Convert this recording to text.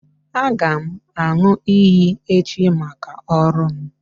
Aga m aṅụ iyi echi maka ọrụ m